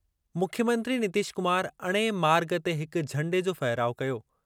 मुख्यमंत्री नितीश कुमार अणे मार्ग ते हिक झंडे जो फहिराउ कयो।